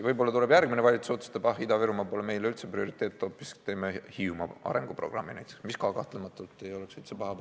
Võib-olla järgmine valitsus otsustab, et Ida-Virumaa pole meile üldse prioriteet, teeme hoopis Hiiumaa arenguprogrammi, mis ka kahtlematult ei oleks paha.